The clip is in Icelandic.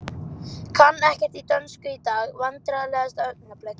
Kann ekkert í dönsku í dag Vandræðalegasta augnablik?